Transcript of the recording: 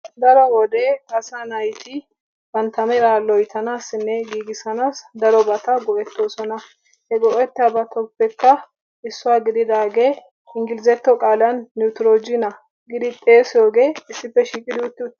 daro wode asa naati bantta mera loyttanassi giigissanssi daroba go'ettoosona. he go; etiyoobatukke issuwaa gididaage inglizzatto qaala Netrojiniyaa giidi xeessiyooge issippe shiiqidi utti uttiis.